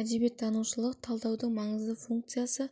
әдебиеттанушылық талдаудың маңызды функциясы